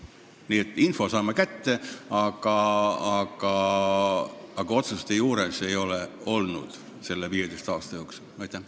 Nii et info oleme kätte saanud, aga otsuste tegemisel ei ole selle 15 aasta jooksul osalenud.